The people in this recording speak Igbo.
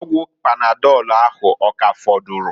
Ọgwụ panadọlụ ahu, ọ ka afọdụrụ?